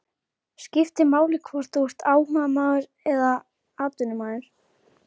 Skiptir máli hvort þú ert áhugamaður eða atvinnumaður?